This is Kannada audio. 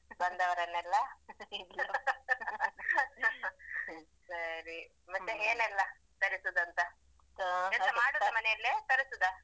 ಬಂದವರನ್ನೆಲ್ಲ ಸರಿ ಮತ್ತೆ ಏನೆಲ್ಲ ತರಿಸುದಂತ ಎಂತ ಮಾಡುದ ಮನೆಯಲ್ಲೇ ತರಿಸುದಾ?